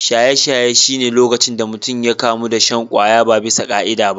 Shaye-shaye shi ne lokacin da mutum ya kamu da shan kwaya ba bisa ka’ida ba.